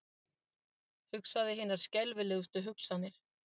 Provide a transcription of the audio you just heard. Hugsaði hinar skelfilegustu hugsanir.